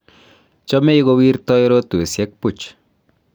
chomei kowirtoi rotwesiek puch